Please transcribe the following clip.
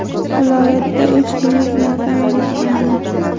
Viloyatda uch kunlik motam e’lon qilindi.